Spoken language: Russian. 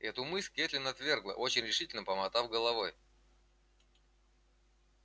эту мысль кэтлин отвергла очень решительно помотав головой